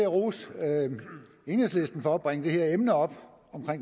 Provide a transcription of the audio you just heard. jeg rose enhedslisten for at bringe det her emne om